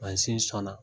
Mansin sɔnna